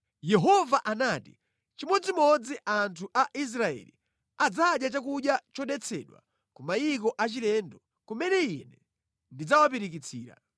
Yehova anati, “Chimodzimodzi anthu a Israeli adzadya chakudya chodetsedwa ku mayiko achilendo kumene Ine ndidzawapirikitsira.”